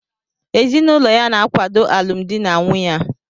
Ezinụlọ ya na-akwado alụmdi na nwunye a